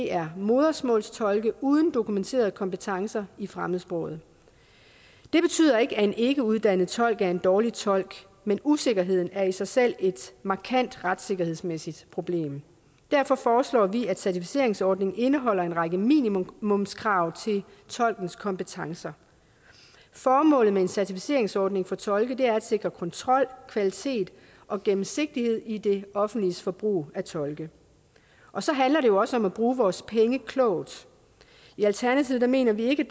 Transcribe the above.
er modersmålstolke uden dokumenterede kompetencer i fremmedsproget det betyder ikke at en ikkeuddannet tolk er en dårlig tolk men usikkerheden er i sig selv et markant retssikkerhedsmæssigt problem derfor foreslår vi at certificeringsordningen indeholder en række minimumskrav til tolkens kompetencer formålet med en certificeringsordning for tolke er at sikre kontrol kvalitet og gennemsigtighed i det offentliges forbrug af tolke og så handler det jo også om at bruge vores penge klogt i alternativet mener vi ikke